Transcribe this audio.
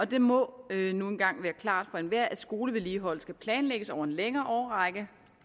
det må nu engang være klart for enhver at skolevedligeholdelse skal planlægges over en længere årrække